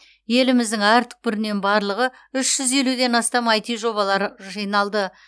еліміздің әр түкпірінен барлығы үш жүз елуден астам аити жобалары жиналды